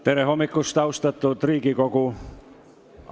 Tere hommikust, austatud Riigikogu!